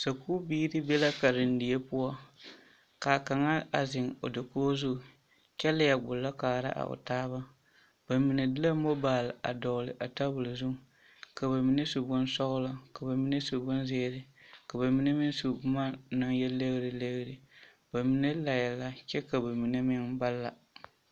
Sakubiiri be la karendie poɔ ka kaŋa a zeŋ o dakoɡi zu kyɛ leɛ ɡbullɔ kaara a o taaba ba mine de la mobaal a dɔɡele a tabul zuiŋ ka ba mine su bonsɔɡelɔ ka ba mine su bonziiri ka ba mine meŋ su boma na yɛ leɡreleɡre ba mine laɛ la kyɛ ka ba mine la.